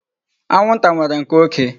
Anwụnta nwere nke oké.